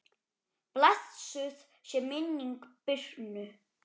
Blessuð sé minning Birnu.